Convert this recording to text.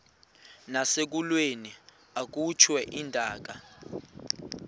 nasekulweni akhutshwe intaka